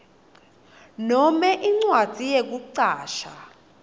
nome incwadzi yekucashwa